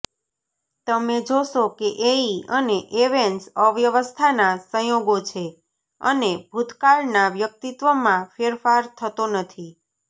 તમે જોશો કે એઇ અને એવન્સ અવ્યવસ્થાના સંયોગો છે અને ભૂતકાળના વ્યક્તિત્વમાં ફેરફાર થતો નથી